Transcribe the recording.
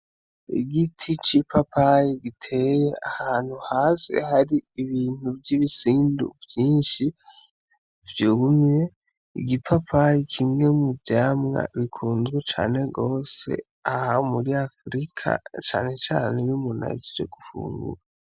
Igiti c'ipapayi giteye ahantu hasi hari ibintu vy'ibisindu vyinshi, vyumye, igipapayi kimwe mu vyamwa bikunzwe cane gose aha muri Afurika, cane cane iyo umuntu ahejeje gufungura.